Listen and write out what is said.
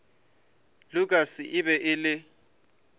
lukas e be e le